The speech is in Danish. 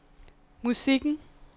musikken